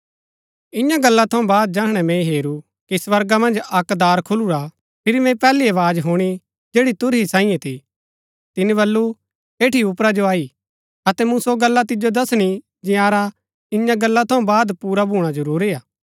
ईयां गला थऊँ बाद जैहणै मैंई हेरू कि स्वर्गा मन्ज अक्क दार खुलुरा हा फिरी मैंई पैहली आवाज हुणी जैड़ी तुरही सांईये थी तिनी बल्लू एठी उपरा जो अई अतै मूँ सो गल्ला तिजो दसणी जंयारा ईयां गल्ला थऊँ बाद पुरा भूणा जरूरी हा